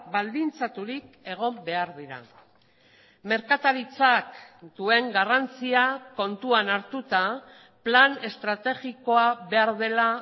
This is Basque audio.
baldintzaturik egon behar dira merkataritzak duen garrantzia kontuan hartuta plan estrategikoa behar dela